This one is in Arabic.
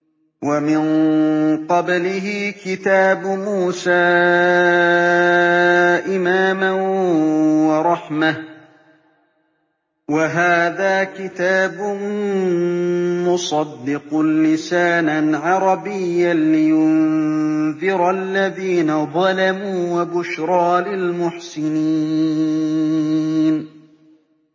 وَمِن قَبْلِهِ كِتَابُ مُوسَىٰ إِمَامًا وَرَحْمَةً ۚ وَهَٰذَا كِتَابٌ مُّصَدِّقٌ لِّسَانًا عَرَبِيًّا لِّيُنذِرَ الَّذِينَ ظَلَمُوا وَبُشْرَىٰ لِلْمُحْسِنِينَ